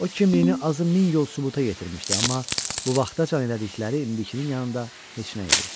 O kimliyini azı min yol sübuta yetirmişdi, amma bu vaxtacan elədikləri indikin yanındakı heç nə idi.